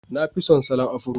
Na fi son salon Afro